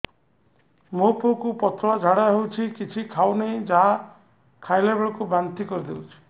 ମୋ ପୁଅ କୁ ପତଳା ଝାଡ଼ା ହେଉଛି କିଛି ଖାଉ ନାହିଁ ଯାହା ଖାଇଲାବେଳକୁ ବାନ୍ତି କରି ଦେଉଛି